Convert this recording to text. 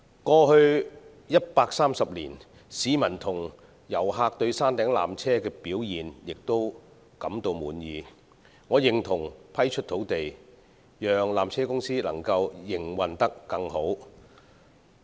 過去130年，市民與遊客對山頂纜車的表現均感到滿意，所以我認同批出土地，讓纜車公司營運得更加理想。